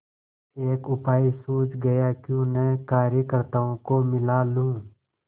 एक उपाय सूझ गयाक्यों न कार्यकर्त्ताओं को मिला लूँ